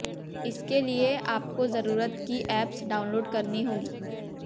इसके लिए आपको जरुरत की एप्स डाउनलोड करनी होगी